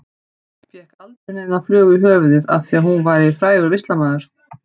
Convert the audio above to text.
Fékk aldrei neina flugu í höfuðið af því að hún væri frægur listamaður.